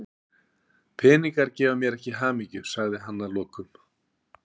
Peningar gefa mér ekki hamingju, sagði hann að lokum.